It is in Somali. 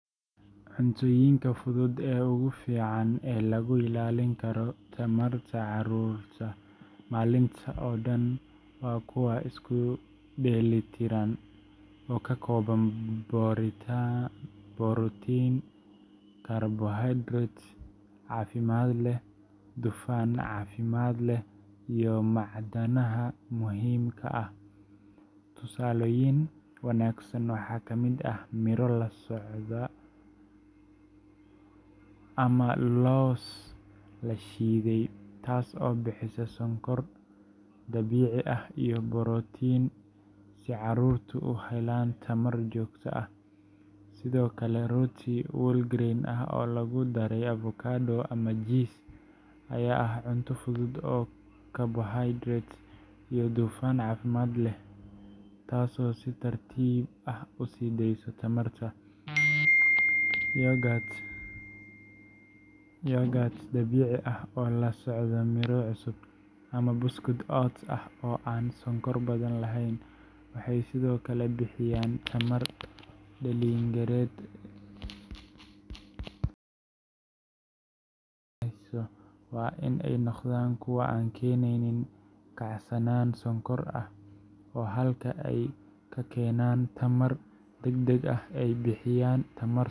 Cuntooyinka fudud ee ugu fiican ee lagu ilaalin karo tamarta carruurta maalinta oo dhan waa kuwa isku dheelitiran oo ka kooban borotiin, karbohaydraytyo caafimaad leh, dufan caafimaad leh, iyo macdanaha muhiimka ah. Tusaalooyin wanaagsan waxaa ka mid ah miro la socda lows nuts ama loos la shiiday, taas oo bixisa sonkor dabiici ah iyo borotiin si carruurtu u helaan tamar joogto ah. Sidoo kale, rooti whole grain ah oo lagu daray avocado ama jiis ayaa ah cunto fudud oo karbohaydraytyo iyo dufan caafimaad leh leh, taasoo si tartiib ah u sii deysa tamarta. Yogurt dabiici ah oo la socda miro cusub, ama buskud oats ah oo aan sonkor badan lahayn, waxay sidoo kale bixiyaan tamar dheellitiran. Marka la eego, cuntooyinka fudud ee laga dooranayo waa in ay noqdaan kuwa aan keenin kacsanaan sonkor ah sugar spikes oo halkii ay ka keenaan tamar degdeg ah ay bixiyaan tamar.